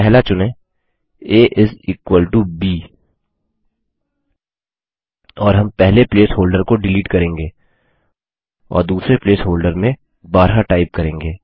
पहला चुनें A is equal to B और हम पहले प्लेस होल्डर को डिलीट करेंगे और दूसरे प्लेस होल्डर में 12 टाइप करेंगे